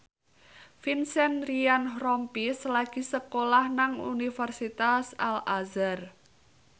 Vincent Ryan Rompies lagi sekolah nang Universitas Al Azhar